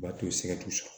U b'a to setusu